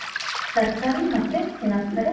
ತರಕಾರಿ, ಮತ್ತೆ, ಏನ್ ಹಾಕ್ತಾರೆ?